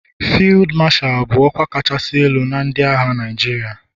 Fiidu Mashalu bụ ọkwa kachasị elu na ndị agha Naijiria.